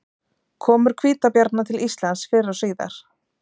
komur hvítabjarna til íslands fyrr og síðar